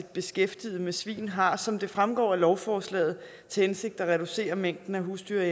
beskæftiget med svin har som det fremgår af lovforslaget til hensigt at reducere mængden af husdyr